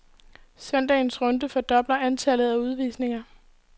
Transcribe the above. Søndagens runde fordoblede antallet af udvisninger.